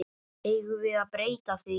Eigum við að breyta því?